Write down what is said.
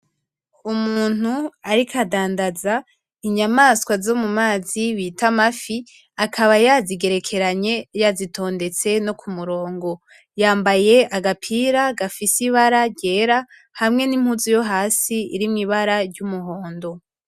Umuntu ariko adandaza inyamaswa zo mumazi bita amafi, akaba yazigerekeranye kumurongo. Yambaye agapira gafise ibara ryera hamwe nimpuzu yo hasi ifise ibara ryumuhondo